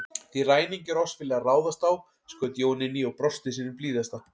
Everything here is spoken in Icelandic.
Því ræningjar oss vilja ráðast á, skaut Jón inn í og brosti sínu blíðasta.